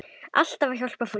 Alltaf að hjálpa fólki.